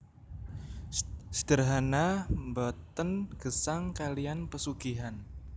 Sederhana mbaten gesang kalian pesugihan